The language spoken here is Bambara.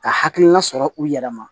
Ka hakilina sɔrɔ u yɛrɛ ma